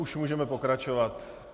Už můžeme pokračovat?